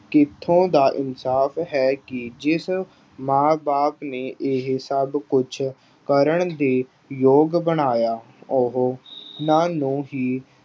ਕਿੱਥੋਂ ਦਾ ਇਨਸਾਫ਼ ਹੈ ਕਿ ਜਿਸ ਮਾਂ ਬਾਪ ਨੇ ਇਹ ਸਭ ਕੁੱਝ ਕਰਨ ਦੇ ਯੋਗ ਬਣਾਇਆ, ਉਹ ਉਹਨਾਂ ਨੂੰ ਹੀ